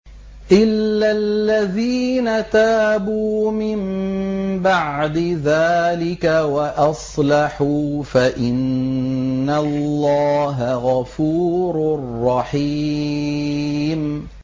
إِلَّا الَّذِينَ تَابُوا مِن بَعْدِ ذَٰلِكَ وَأَصْلَحُوا فَإِنَّ اللَّهَ غَفُورٌ رَّحِيمٌ